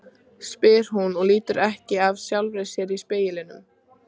spyr hún og lítur ekki af sjálfri sér í speglinum.